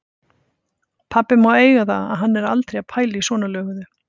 Pabbi má eiga það að hann er aldrei að pæla í svona löguðu.